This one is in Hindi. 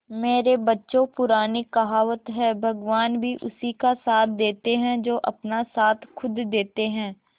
मेरे बच्चों पुरानी कहावत है भगवान भी उसी का साथ देते है जो अपना साथ खुद देते है